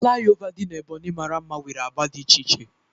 Fulaiova dị n'Ebonyi mara mma nwere agba dị iche iche